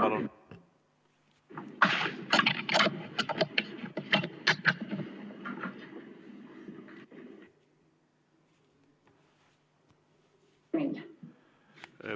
Palun!